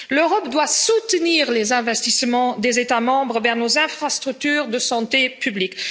L'Europe doit soutenir les investissements des États membres vers nos infrastructures de santé publique.